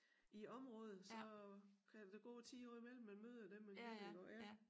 I æ område så kan der da gå 10 år imellem man møder dem man kender iggå ja